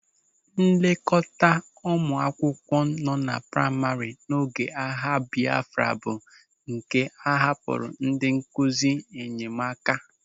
Nlekọta ụmụ akwụkwọ nọ na praima n'oge agha Bịafra bụ nke a hapụrụ ndị nkụzi nyemaka.